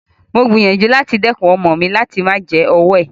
Mo gbìyànjú láti dẹ́kun ọmọ mi láti máa jẹ ọwọ́ ẹ̀.